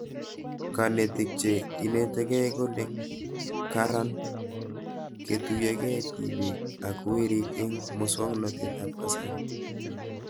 Kanetik che inetikei kole karan ketuyokei tipik ak werik eng' muswognatet ab kasari